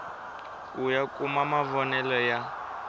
ku ya kuma mavonele ya